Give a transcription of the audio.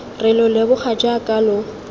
re lo leboga jaaka lo